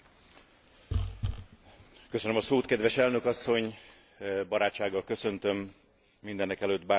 Barátsággal köszöntöm mindenekelőtt Barnier biztos urat, akinek ezúton is szeretnék jó munkát kívánni.